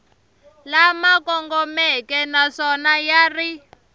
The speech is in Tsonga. lama kongomeke naswona ya ri